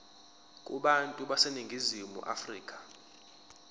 kubantu baseningizimu afrika